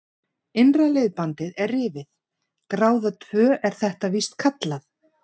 Innra liðbandið er rifið, gráða tvö er þetta víst kallað.